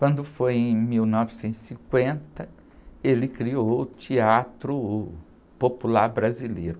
Quando foi em mil novecentos e cinquenta, ele criou o Teatro Popular Brasileiro.